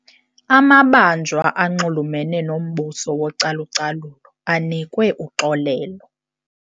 Amabanjwa anxulumene nombuso wocalucalulo anikwe uxolelo.